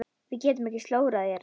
Við getum ekki slórað hérna.